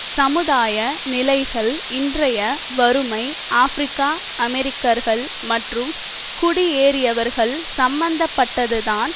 சமுதாய நிலைகள் இன்றைய வறுமை ஆபிரிக்க அமெரிக்கர்கள் மற்றும் குடியேறியவர்கள் சம்மந்தப்பட்டதுதான்